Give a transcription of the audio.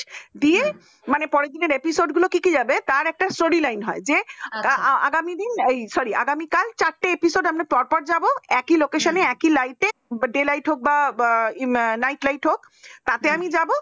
দিয়ে মানে পড়ার দিনের episode গুলো কি কি যাবে তার একটা story line হয় যে আগামী দিন এই sorry আগামীকাল চারটা পেছনে আমরা পর পর যাব একই location একই light day light হোক বা night light হোক তাতে আমি যাব